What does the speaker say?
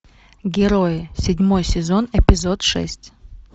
герои седьмой сезон эпизод шесть